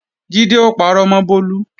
Jídé ó parọ́ mọ́ Bólú